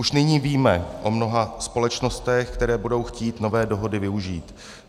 Už nyní víme o mnoha společnostech, které budou chtít nové dohody využít.